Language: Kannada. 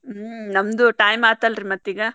ಹ್ಮ್ ನಮ್ದು time ಆತಲ್ರಿ ಮತ್ತೀಗ.